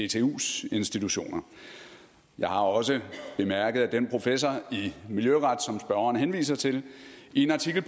dtus institutioner jeg har også bemærket at den professor i miljøret som spørgeren henviser til i en artikel